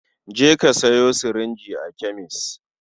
Je ka sayo sirinji a kemes.